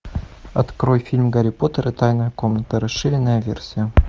открой фильм гарри поттер и тайная комната расширенная версия